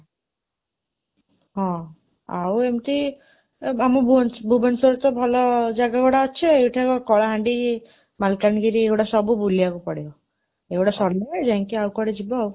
ହଁ, ଆଉ ଏମିତି ଆମ ଭୁବନେଶ୍ୱରରେ ତ ଭଲ ଜାଗାଗୁଡ଼ାକ ଅଛି, ଏଇଠି ଆଗ କଳାହାଣ୍ଡି, ମାଲକାନାଗିରି ଏଗୁଡ଼ାକ ସବୁ ବୁଲିବାକୁ ପଡ଼ିବ, ଏଗୁଡ଼ା ସରିଲେ ଯାଇକି ଆଉ କୁଆଡ଼େ ଯିବାଆଉ